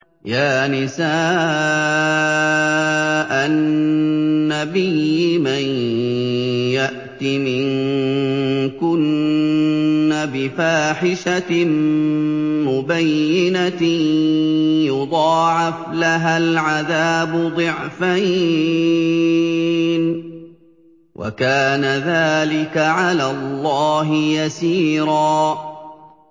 يَا نِسَاءَ النَّبِيِّ مَن يَأْتِ مِنكُنَّ بِفَاحِشَةٍ مُّبَيِّنَةٍ يُضَاعَفْ لَهَا الْعَذَابُ ضِعْفَيْنِ ۚ وَكَانَ ذَٰلِكَ عَلَى اللَّهِ يَسِيرًا